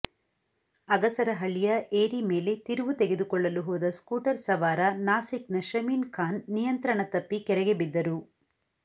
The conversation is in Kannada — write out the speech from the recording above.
ಅಗಸರಹಳ್ಳಿಯ ಏರಿ ಮೇಲೆ ತಿರುವು ತೆಗೆದುಕೊಳ್ಳಲು ಹೋದ ಸ್ಕೂಟರ್ ಸವಾರ ನಾಸಿಕ್ನ ಶಮೀನ್ ಖಾನ್ ನಿಯಂತ್ರಣ ತಪ್ಪಿ ಕೆರೆಗೆ ಬಿದ್ದರು